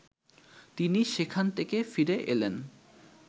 তিনি সেখান থেকে ফিরে এলেন